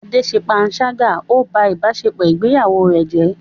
Ade ṣe panṣágà, ó ń ba ìbáṣepọ̀ ìgbéyàwó rẹ̀ jẹ́.